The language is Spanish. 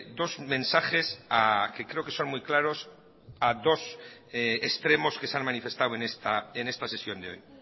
dos mensajes que creo que son muy claros a dos extremos que se han manifestado en esta sesión de hoy